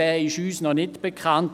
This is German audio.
Dieser ist uns noch nicht bekannt.